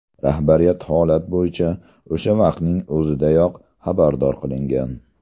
Rahbariyat holat bo‘yicha o‘sha vaqtning o‘zidayoq xabardor qilingan.